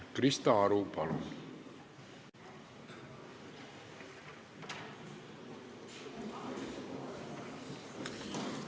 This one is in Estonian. Krista Aru, palun!